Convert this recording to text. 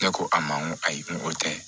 Ne ko a ma n ko ayi ko o tɛ